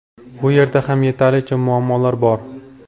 Bu yerda ham yetarlicha muammolar bor.